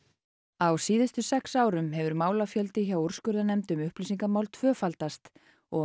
á síðustu sex árum hefur málafjöldi hjá úrskurðarnefnd um upplýsingamál tvöfaldast og